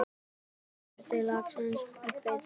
Skerið laxinn í bita.